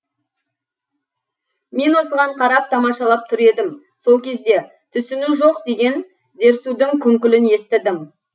мен осыған қарап тамашалап тұр едім сол кезде түсіну жоқ деген дерсудың күңкілін естідім